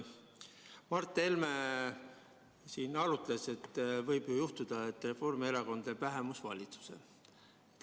Mart Helme siin arutles, et võib ju juhtuda, et Reformierakond teeb vähemusvalitsuse.